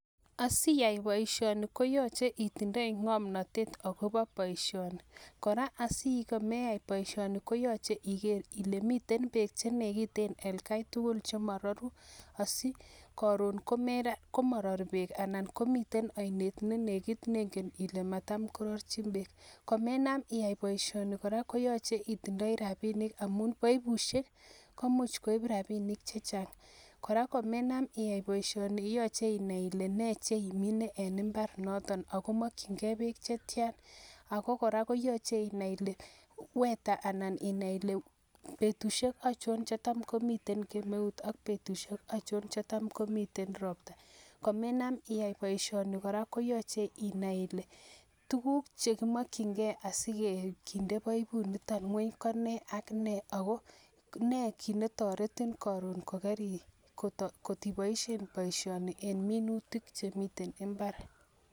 Asiaii poishani koyacheee itinyeee ngamnatet sigopit iyae poishani alot Kora amainam iyaii poishani koyache icheng rapisheek chechang ako koraa koyache inai Ile petishek aichon cheimuchi koropon AK petut aino nimemuchi korobon akomagat itinye rapisheek chenipaisheee Eng yutok